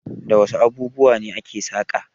Da wasu abubuwa ne aka saƙa?